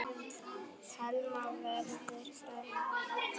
Telma: Verður fækkað?